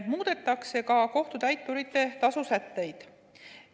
Muudetakse ka kohtutäituri tasu sätteid.